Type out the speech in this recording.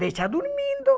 Deixa dormindo.